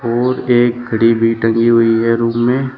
और एक घड़ी भी टंगी हुई है रूम में।